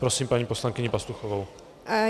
Prosím paní poslankyni Pastuchovou.